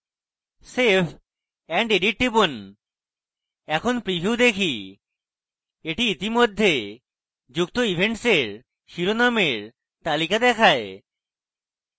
save and edit টিপুন এখন preview দেখি এটি ইতিমধ্যে যুক্ত events এর শিরোনামের তালিকা দেখায়